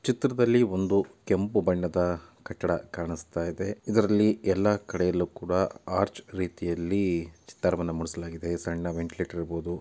ಚಿತ್ರದಲ್ಲಿ ಒಂದು ಕೆಂಪು ಬಣ್ಣದ ಕಟ್ಟಡ ಕಾಣಿಸ್ತಾ ಇದೆ ಇದರಲ್ಲಿ ಎಲ್ಲಾ ಕಡೆಯಲ್ಲೂ ಕೂಡಾ ಆರ್ಚ್ ರೀತಿಯಲ್ಲಿ ಚಿತ್ತಾರವನ್ನು ಮೂಡಿಸಲಾಗಿದೆ ಸಣ್ಣ ವೆಂಟಿಲೇಟರ್ ಇರಬಹುದು.